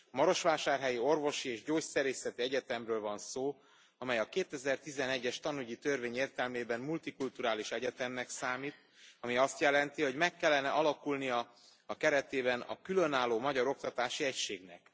A Marosvásárhelyi Orvosi és Gyógyszerészeti Egyetemről van szó, amely a 2011 es tanügyi törvény értelmében multikulturális egyetemnek számít, ami azt jelenti, hogy meg kellene alakulnia a keretében a különálló magyar oktatási egységnek.